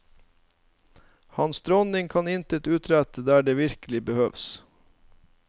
Hans dronning kan intet utrette der den virkelig behøves.